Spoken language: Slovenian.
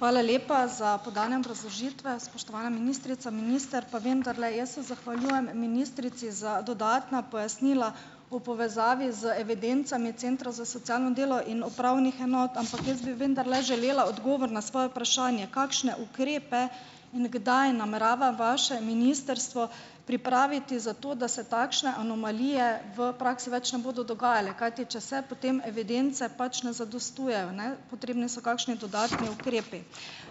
Hvala lepa, za podane obrazložitve, spoštovana ministrica, minister, pa vendarle, jaz se zahvaljujem ministrici za dodatna pojasnila v povezavi z evidencami centrov za socialno delo in upravnih enot, ampak jaz bi vendarle želela odgovor na svoje vprašanje - kakšne ukrepe in kdaj namerava vaše ministrstvo pripraviti, zato da se takšne anomalije v praksi več ne bodo dogajale? Kajti če se, potem evidence pač ne zadostujejo, ne? Potrebni so kakšni dodatni ukrepi.